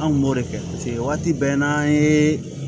An kun b'o de kɛ paseke waati bɛɛ n'an ye